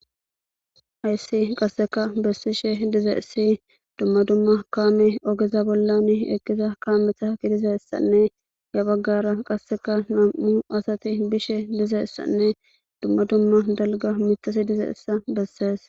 Hayyssi qasseka bessishe diza issi dumma dumma kaame ogeza bollan eqqiza kaametha gidiza issanne ya baggara qasseka nam7u asati bishe diza issanne dumma dumma dalga mitasi dizaysa bessees